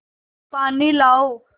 पानी लाओ